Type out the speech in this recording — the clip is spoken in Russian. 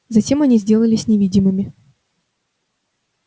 затем они сделались невидимыми